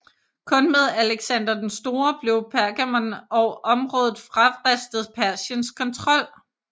Kun med Alexander den Store blev Pergamon og området fravristet Persiens kontrol